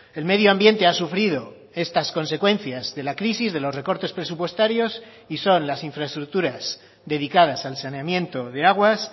el medio ambiente ha sufrido estas consecuencias de la crisis de los recortes presupuestarios y son las infraestructuras dedicadas al saneamiento de aguas